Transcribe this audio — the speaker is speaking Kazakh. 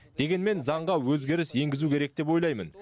дегенмен заңға өзгеріс енгізу керек деп ойлаймын